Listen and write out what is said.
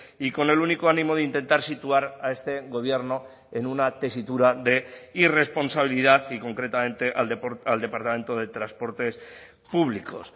y con el único ánimo de intentar situar a este gobierno en una tesitura de irresponsabilidad y concretamente al departamento de transportes públicos